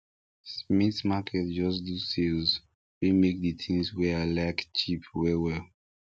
smith market just do sales wey make the things wey i like cheap well well